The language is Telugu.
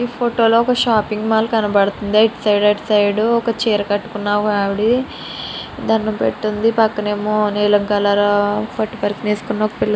ఈ ఫోటో లో ఒక షాపింగ్ మాల్ కనబడుతుంది. ఇటు సైడ్ అటు సైడ్ ఒక చీర కట్టుకున్న ఆవిది దండం పెట్టి ఉంది. పక్కనేమో నీలం కలరు పట్టు పరికిణి వేసుకున్న ఒక పిల్ల --